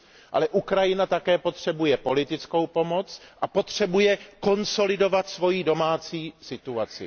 ale Ukrajina také potřebuje politickou pomoc a potřebuje konsolidovat svou domácí situaci.